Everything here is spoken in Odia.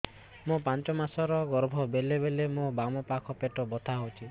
ମୋର ପାଞ୍ଚ ମାସ ର ଗର୍ଭ ବେଳେ ବେଳେ ମୋ ବାମ ପାଖ ପେଟ ବଥା ହଉଛି